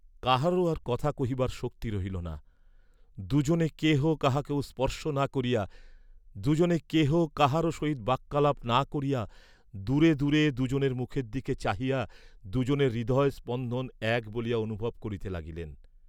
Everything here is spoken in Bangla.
কাহারও আর কথা কহিবার শক্তি রহিল না, দুজনে কেহ কাহাকেও স্পর্শ না করিয়া দুজনে কেহ কাহারও সহিত বাক্যালাপ না করিয়া দূরে দূরে দুজনের মুখের দিকে চাহিয়া দুজনের হৃদয় স্পন্দন এক বলিয়া অনুভব করিতে লাগিলেন।